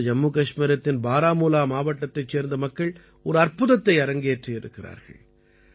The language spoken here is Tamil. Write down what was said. இப்போது ஜம்மு கஷ்மீரத்தின் பாராமூலா மாவட்டத்தைச் சேர்ந்த மக்கள் ஒரு அற்புதத்தை அரங்கேற்றி இருக்கிறார்கள்